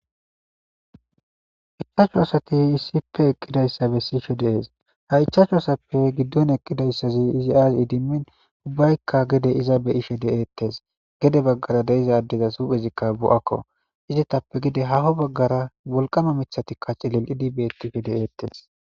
ichaachu asati issipe eqqidayssa bessishe dees ha ichaachu asappe giddon eqqidayssazi izi aas idimmin ubbaykka gede iza beyishe deeettes gede baggara deiza addeza suphezikka bu7akko izitappe gide haho baggara wolqama mithatikka cillil idibeettife de7eettes